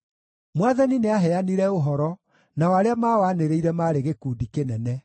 Mwathani nĩaheanire ũhoro, nao arĩa maawanĩrĩire maarĩ gĩkundi kĩnene: